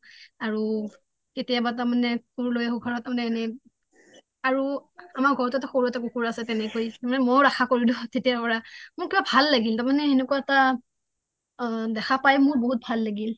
আৰু কেতিয়াবা তাৰ মানে সৰু লৈ আঁহো ঘহৰত তাৰ মানে এনে আৰু আমাৰ ঘৰতটো সৰু এটা কুকুৰ আছে তেনেকৈ তাৰ মানে মইও ৰাখা কৰিলো তেতিয়াৰ পৰা মোৰ কিবা ভাল লাগিল তাৰ মানে তেনেকুৱা এটা আ দেখা পায় মোৰ বহুত ভাল লাগিল